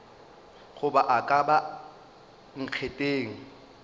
goba a ka ba nkgetheng